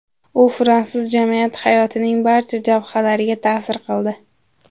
U fransuz jamiyati hayotining barcha jabhalariga ta’sir qildi.